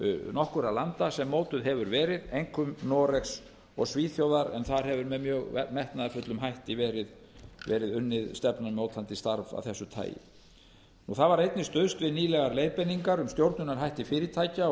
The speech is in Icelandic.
nokkurra landa sem mótuð hefur verið einkum noregs og svíþjóðar en þar hefur með mjög metnaðarfullum hætti verið unnið stefnumótandi starf af þessu tagi það var einnig stuðst við nýlegar leiðbeiningar um stjórnunarhætti fyrirtækja og